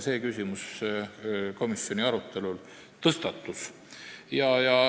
See küsimus komisjoni arutelul ka tõstatus.